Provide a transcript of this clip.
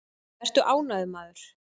Vertu ánægður, maður!